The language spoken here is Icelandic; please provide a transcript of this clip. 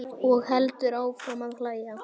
Og heldur áfram að hlæja.